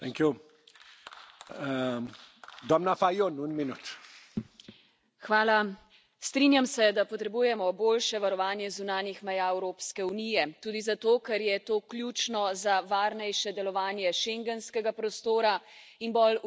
Gospod predsedujoči, strinjam se, da potrebujemo boljše varovanje zunanjih meja Evropske unije. Tudi zato, ker je to ključno za varnejše delovanje schengenskega prostora in bolj učinkovito upravljanje z migracijami.